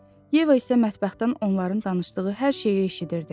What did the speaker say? Yeva isə mətbəxdən onların danışdığı hər şeyi eşidirdi.